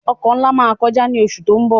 Ọkọ̀ nlá má kọjá ní oṣù tó ń bọ̀